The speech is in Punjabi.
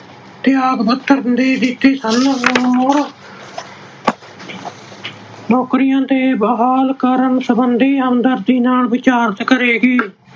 ਤਿਆਗ ਪੱਤਰ ਦੇ ਦਿੱਤੇ ਸਨ, ਮੁੜ ਨੌਕਰੀਆਂ ਤੇ ਬਹਾਲ ਕਰਨ ਸਬੰਧੀ ਹਮਦਰਦੀ ਨਾਲ ਵਿਚਾਰ ਕਰੇਗੀ।